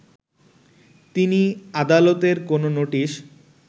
তিনি আদালতের কোন নোটিশ